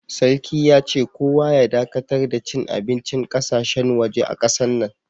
Sarki ya ce, kowa ya dakatar da cin abincin ƙasashen, waje a kasan nan.